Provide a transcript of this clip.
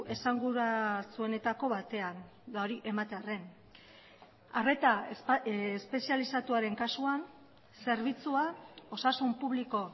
esanguratsuenetako batean eta hori ematearren arreta espezializatuaren kasuan zerbitzua osasun publiko